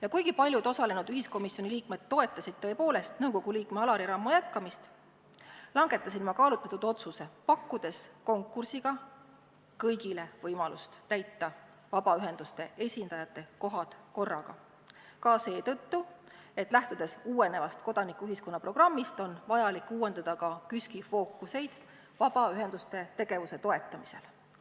Ja kuigi paljud osalenud ühiskomisjoni liikmed tõepoolest toetasid nõukogu liikme Alari Rammo jätkamist, langetasin ma kaalutletud otsuse, pakkudes konkursiga kõigile võimalust täita vabaühenduste esindajate kohad korraga – ka seetõttu, et lähtudes uuenevast kodanikuühiskonna programmist, on vaja uuendada KÜSK-i fookust vabaühenduste tegevuse toetamisel.